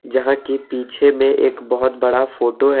जहाँ की पीछे में एक बहुत बड़ा फोटो है।